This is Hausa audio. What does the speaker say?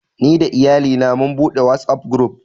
Ni da Iyalina mun buɗe Whatsapp guruf